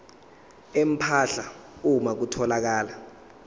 empahla uma kutholakala